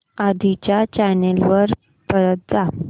आधी च्या चॅनल वर परत जा